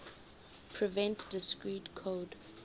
prevent discrete code